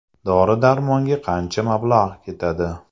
Dori-darmonga qancha mablag‘ ketadi?